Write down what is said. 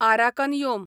Arakan योम